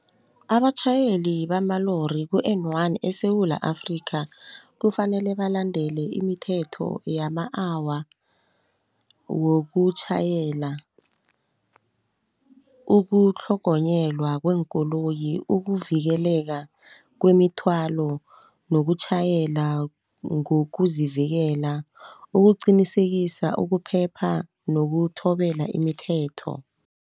Abatjhayeli bamalori ku-N one eSewula Afrika kufanele balandele imithetho yama-hour, wokutjhayela, ukutlhogonyelwa kweekoloyi, ukuvikeleka kwemithwalo, nokutjhayela ngokuzivikela. Ukuqinisekisa ukuphepha nokuthobela imithetho.